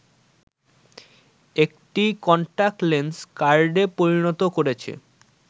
একটি কন্টাক্টলেস কার্ডে পরিণত করেছে